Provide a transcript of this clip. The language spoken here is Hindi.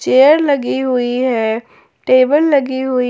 चेयर लगी हुई है टेबल लगी हुई--